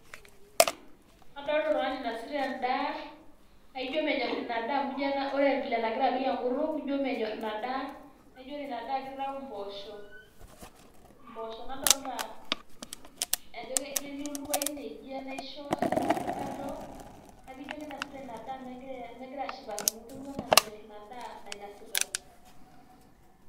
Adolta oltungani oinasita endaa, naijio menyorr ina daa amu ijio ore vile nengira apik ina kutuk ijio menyorr, ina daa naa ore ina daa na kitayu imbosho nadolta ajo ketii oltupa ine ijio enaisho ina naati kando niaku ijio kinosuta ina daa mengira ashipakino ketiu ena menyor ina daa nainosita,